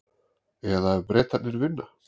Eða ef Bretarnir vinna?